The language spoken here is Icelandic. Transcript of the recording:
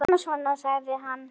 Kíkir í spegil á baðinu.